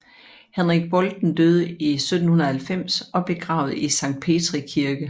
Henrik Bolten døde 1790 og blev begravet i Sankt Petri Kirke